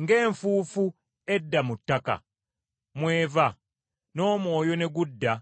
ng’enfuufu edda mu ttaka mwe yava, n’omwoyo ne gudda